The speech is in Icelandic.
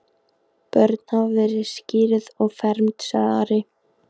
Börn hafa verið skírð og fermd, sagði Ari.